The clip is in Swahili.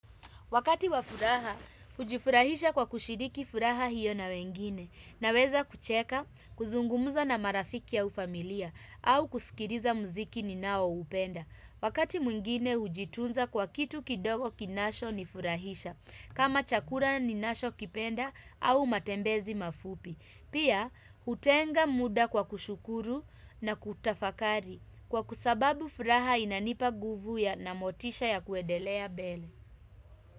Wakati wa furaha, hujifurahisha kwa kushiriki furaha hiyo na wengine. Naweza kucheka, kuzungumza na marafiki au familia, au kusikiliza muziki ninaoupenda. Wakati mwingine huwa najitunza kwa kitu kidogo kinachonifurahisha, kama chakula ninachokipenda, au matembezi mafupi. Pia, huwa natenga muda kwa kushukuru na kutafakari, kwa sababu furaha inanipa nguvu na motisha ya kuendelea mbele.